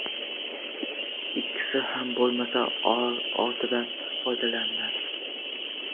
Ikkisi ham bo‘lmasa, o‘tindan foydalaniladi.